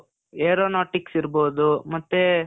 aeronautics ಇರ್ಬಹುದು, ಮತ್ತೇ,